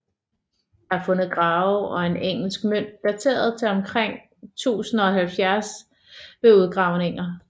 Der er fundet grave og en engelsk mønt dateret til omkring 1070 ved udgravninger